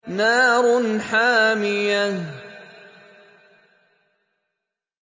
نَارٌ حَامِيَةٌ